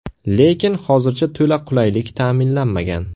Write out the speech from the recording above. Lekin hozircha to‘la qulaylik ta’minlanmagan.